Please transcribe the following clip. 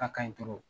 A ka ɲi